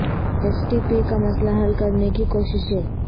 S T P کا مسئلہ حل کرنے کی کوششیں